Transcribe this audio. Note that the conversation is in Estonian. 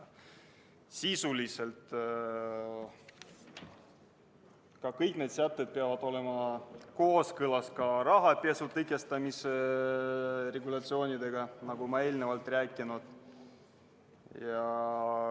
Samuti peavad need sätted olema kooskõlas rahapesu tõkestamise regulatsioonidega, nagu ma eelnevalt rääkisin.